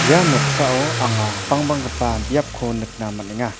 ia noksao anga bangbanggipa biapko nikna man·enga.